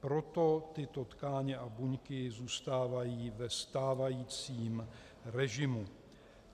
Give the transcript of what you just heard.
Proto tyto tkáně a buňky zůstávají ve stávajícím režimu.